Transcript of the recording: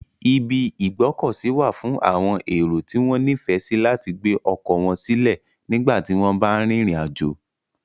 Ibi ìgbókòsí wa fún àwon èrò tí wón nífèsí láti gbé okò won sílè nígbàtí won ba n rìnrìn àjò